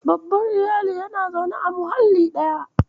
Babban Iyali yana zaune a muhalli ɗaya.